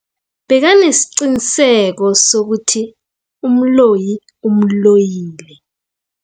Bekanesiqiniseko sokuthi umloyi umloyile.